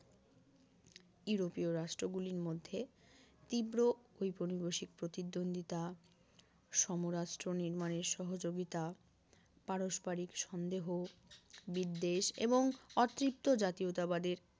ইউরোপীয় রাষ্ট্রগুলির মধ্যে তীব্র ঔপনিবেশিক প্রতিদ্বন্দ্বিতা সমরাস্ট্র নির্মাণের সহযোগিতা পারস্পারিক সন্দেহ বিদ্বেষ এবং অতৃপ্ত জাতীয়তাবাদের